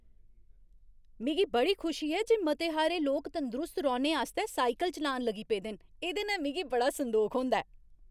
मिगी बड़ी खुशी ऐ जे मते हारे लोक तंदरुस्त रौह्ने आस्तै साइकल चलान लगी पेदे न । एह्दे नै मिगी बड़ा संदोख होंदा ऐ।